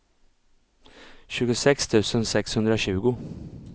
tjugosex tusen sexhundratjugo